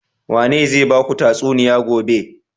Wane zai baku tatsuniya gobe?